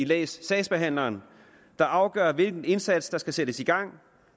læs sagsbehandleren der afgør hvilken indsats der skal sættes i gang